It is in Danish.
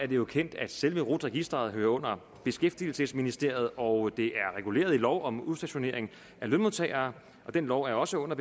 jo kendt at selve rut registeret hører under beskæftigelsesministeriet og det er reguleret i lov om udstationering af lønmodtagere og den lov hører også under